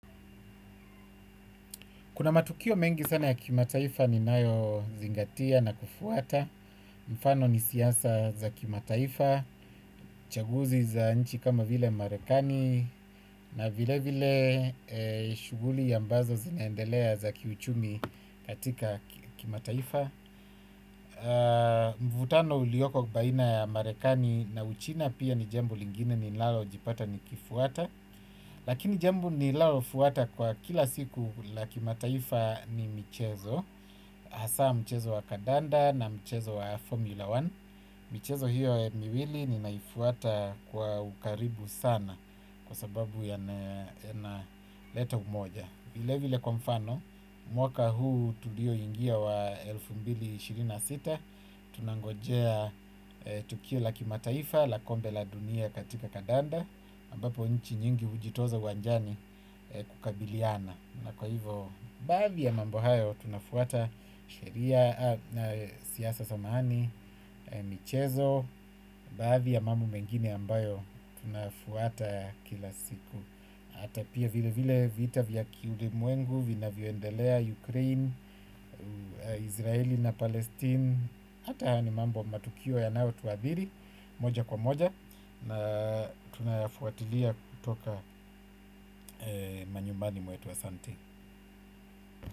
Kuna matukio mengi sana ya kimataifa ni nayo zingatia na kufuata, mfano ni siasa za kimataifa, chaguzi za nchi kama vile marekani na vile vile shuguli ambazo zinaendelea za kiuchumi katika kimataifa. Mvutano ulioko baina ya marekani na uchina pia ni jambo lingine ninalo jipata ni kifuata. Lakini jambo ni lalo fuata kwa kila siku la kimataifa ni mchezo asa mchezo wa kadanda na mchezo wa formula moja. Michezo hiyo miwili ni naifuata kwa ukaribu sana kwa sababu yanaleta umoja. Vile vile kwa mfano, mwaka huu tulioingia wa elfu mbili na ishirini na sita, tunangojea tukio la kimataifa, la kombe la dunia katika kadanda, ambapo nchi nyingi hujitoza uwanjani kukabiliana. Na kwa hivo, baadhi ya mambo hayo, tunafuata sheria na siasa samahani, michezo, baadhi ya mambo mengine ambayo, tunafuata ya kila siku. Hata pia vile vile vita vya kiulimwengu, vinavyoendelea Ukraine, Israeli na Palestine, hata haya ni mambo matukio yanayotuadhiri, moja kwa moja, na tunafuatilia kutoka manyumbani mwetu asante.